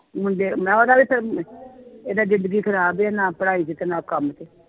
ਮੁੰਡੇ ਮੈਂ ਉਹਦਾ ਵੀ ਫਿਰ, ਇਹਦਾ ਜ਼ਿੰਦਗੀ ਖ਼ਰਾਬ ਹੀ ਹੈ ਨਾ ਪੜ੍ਹਾਈ ਵਿੱਚ ਨਾ ਕੰਮ ਚ।